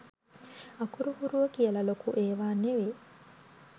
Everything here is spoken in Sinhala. අකුරු හුරුව කියලා ලොකු ඒවා නෙවේ